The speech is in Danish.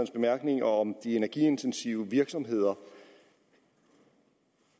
bemærkninger om de energiintensive virksomheder